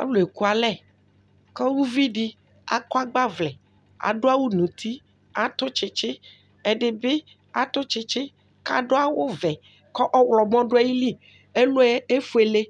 Alu ekualɛ ku uvi di akɔ agbavlɛ k'adu awù n'uti, atù tsitsi, ɛdi bi atù tsitsi k'adu awù vɛ k'ɔwlɔmɔ du ayili, ɛluɛ efuele